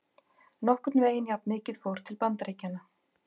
Nokkurn veginn jafnmikið fór til Bandaríkjanna.